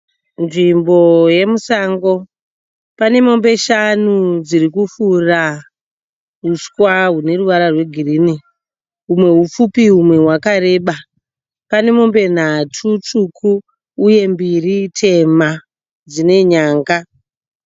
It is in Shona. Nzvimbo yemusango, pane mombe shanu dzirikufura uswa hune ruwara rwe girini humwe hupfupi humwe hwakareba. Pane mombe nhatu tsvuku uye mbiri tema dzine nyanga.